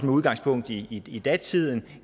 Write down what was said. udgangspunkt i i datidens